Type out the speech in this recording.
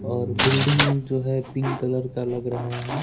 और बिल्डिंग जो है पिंक कलर का लग रहा है।